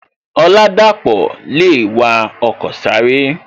Oladapo le wa ọkọ sáré